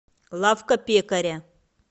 лавка пекаря